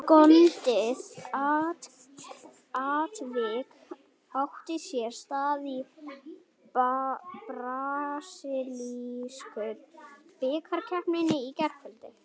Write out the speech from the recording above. Skondið atvik átti sér stað í brasilísku bikarkeppninni í gærkvöldi.